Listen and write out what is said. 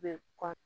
Bɛ kɔ